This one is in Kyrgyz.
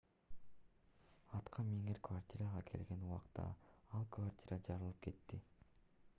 аткаминер квартирага келген убакта ал квартира жарылып кетти